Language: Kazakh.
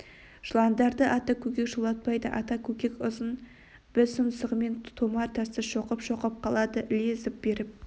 жыландарды ата көкек жолатпайды ата көкек ұзын біз тұмсығымен томар тасты шоқып-шоқып қалады іле зып беріп